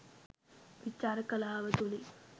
විචාර කලාව තුළින්